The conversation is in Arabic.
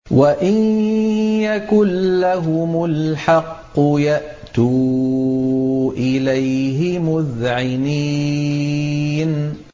وَإِن يَكُن لَّهُمُ الْحَقُّ يَأْتُوا إِلَيْهِ مُذْعِنِينَ